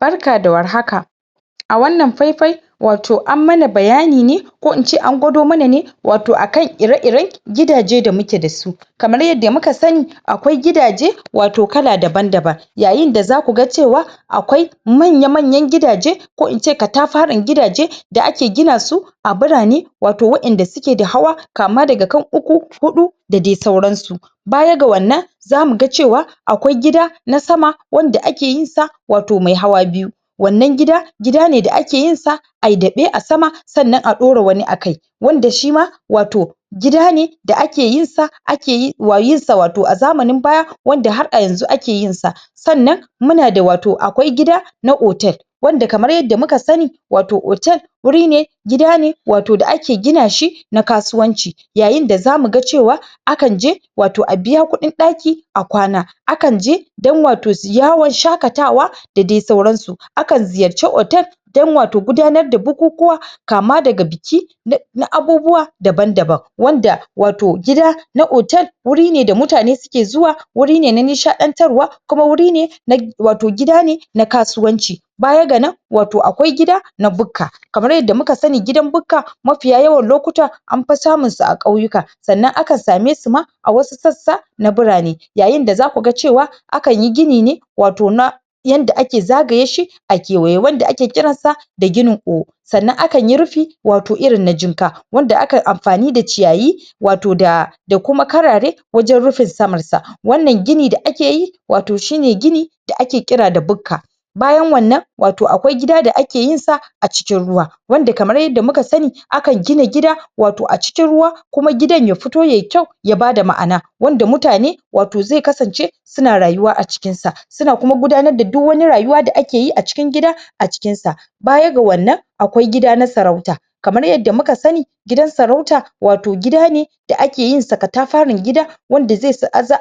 Barka da warhaka A wannan fai fai Wato an mana bayani ne Ko ince an gwado mana ne Wato akan ire ire gidajen da muke dasu Kamar yadda muka sani Akwai gidaje wato, kala daban-daban Yayin da zaku ga cewa Akwai Akwai manya manyan gidaje Ko ince katafaren gidaje Da ake gina su A ɓirane Wato wadanda suke da hawa Kama daga kan uku hutu Da dai sauran su Bayan ga wannan Zamu ga cewa Akwai gida Na sama Wanda ake yinsa Wato mai hawa biyu Wannan gida, gida ne da ake yinsa Ayi daɓe a sama Sannan a ɗora wani a sama Wanda shima wato Gida ne da ake yinsa yinsa wato a zamanin baya Wanda har a yanzu ake yinsa Sannan Muna da wato akwai gida Na hotel Wanda wato kamar yadda muka sani Wato hotel wuri ne Gida ne Wato da ake gina shi Na kasuwanci Yayin da zamu ga cewa Akan je Wato a biya kudin ɗaki A kwana Akan je Akan je don wato yawon shaqatawa Da dai sauran su Akan ziyarci hotel Don wato gudanar da bukukuwa Kama daga biki Na Na abubuwa Daban daban Wanda wato gida Na hotel wuri ne da mutane suke zuwa Wuri ne na nishaɗantarwa Kuma wuri ne Na wato gida ne na kasuwanci Bayan ganan Wato akwai gida na bukka Kamar yadda muka sani gidan bukka Mafiya yawan lokuta Anfi samun su a ƙauyuka Sannan akan same suma A wasu sassa na birane Yayin da zaku ga cewa Akan yi gini ne Wato na Yanda ake zagaye shi A kewaye wanda ake kiran sa Da ginin Sannan akan yi rufi Wato irin na jinka Wanda akan amfani da ciyayi Wato da Da kuma karare Wajen rufe saman sa Wannan gini da ake yi Wato shine gini Da ake kira da bukka Bayan wannan Wato akwai gida da ake yinsa A cikin ruwa Wanda kamar yadda muka sani Akan gina gida Wato a cikin ruwa kuma gidan ya fito yayi kwau ya bada ma'ana Wanda mutane Wato zai kasance Suna rayuwa a cikin sa Suna kuma gudanar da duk wani rayuwa da ake yi a cikin gida A cikinsa Bayan ga wannan Akwai gida na sarauta Kamar yadda muka sani Gidan sarauta wato gida ne Da ake yinsa katafaren gida Wanda